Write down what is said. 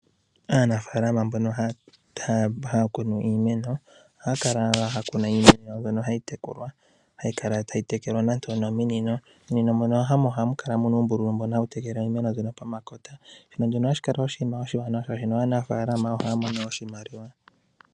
Aanafaalama mboka haya kunu iimeno ohayi kala tayi tekelwa nenge onominino mominino mono hamu kala uumbululu mbono hawu tekele iimeno pomakota. Ohashi kala oshiwanawa, oshoka aanafalama ohaya mono mo oshimaliwa.